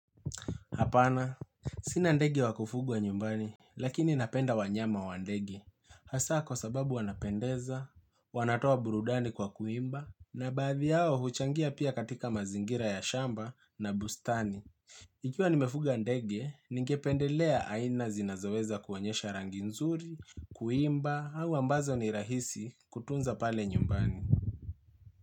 Hapana, sina ndege wakufugwa nyumbani, lakini napenda wanyama wa ndege. Hasa kwa sababu wanapendeza, wanatoa burudani kwa kuimba, na baadhi hao huchangia pia katika mazingira ya shamba na bustani. Ikiwa nimefuga ndege, ningependelea aina zinazoweza kuonyesha rangi nzuri, kuimba, au ambazo ni rahisi kutunza pale nyumbani.